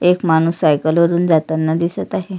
एक माणूस सायकल वरुन जाताना दिसत आहे.